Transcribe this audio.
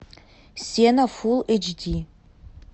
сено фул эйч ди